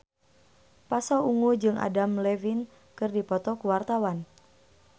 Pasha Ungu jeung Adam Levine keur dipoto ku wartawan